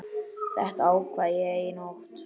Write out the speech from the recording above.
Þetta ákvað ég í nótt.